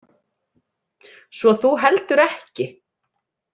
Svo þú heldur ekki?